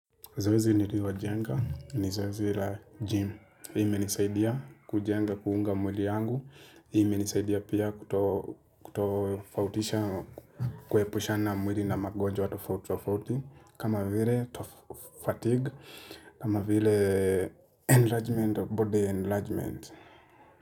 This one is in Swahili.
Zoezi nililojenga ni zoezi la gym, imenisaidia kujenga kuunga mwili yangu, imenisaidia pia kutofautisha, kuepushana mwili na magonjwa tofauti tofauti, kama vile fatigue, kama vile enlargement of body enlargement.